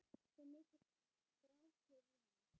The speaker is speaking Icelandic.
Svo mikill strákur í henni.